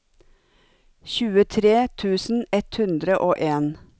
tjuetre tusen ett hundre og en